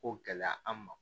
Ko gɛlɛya an ma